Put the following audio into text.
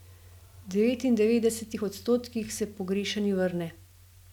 V devetindevetdesetih odstotkih se pogrešani vrne.